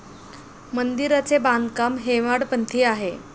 मंदिराचे बांधकाम हेमाडपंथी आहे.